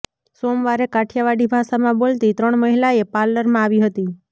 સોમવારે કાઠિયાવાડી ભાષામાં બોલતી ત્રણ મહિલાએ પાર્લરમાં આવી હતી